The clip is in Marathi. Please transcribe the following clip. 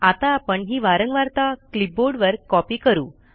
आता आपण ही वारंवारता क्लिपबोर्डवर कॉपी करू